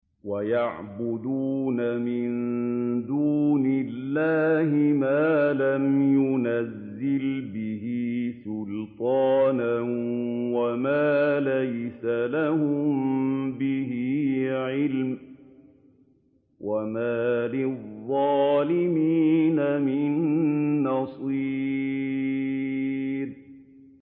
وَيَعْبُدُونَ مِن دُونِ اللَّهِ مَا لَمْ يُنَزِّلْ بِهِ سُلْطَانًا وَمَا لَيْسَ لَهُم بِهِ عِلْمٌ ۗ وَمَا لِلظَّالِمِينَ مِن نَّصِيرٍ